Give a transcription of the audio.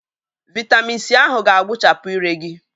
Vị́tamị́n c ahụ ga-agbuchapụ ire gị